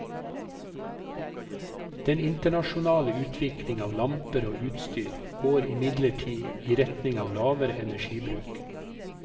Den internasjonale utvikling av lamper og utstyr går imidlertid i retning av lavere energibruk.